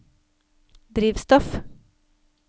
drivstoff